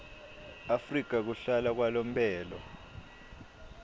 afrika kuhlala kwalomphelo